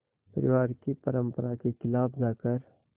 परिवार की परंपरा के ख़िलाफ़ जाकर